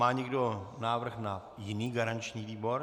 Má někdo návrh na jiný garanční výbor?